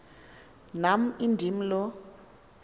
nam indim lo